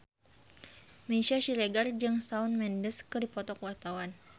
Meisya Siregar jeung Shawn Mendes keur dipoto ku wartawan